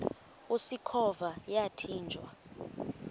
usikhova yathinjw a